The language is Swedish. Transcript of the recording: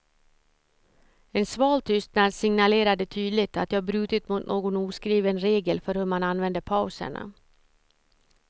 En sval tystnad signalerade tydligt att jag brutit mot någon oskriven regel för hur man använde pauserna.